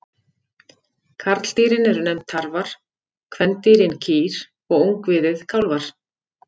Karldýrin eru nefnd tarfar, kvendýrin kýr og ungviðið kálfar.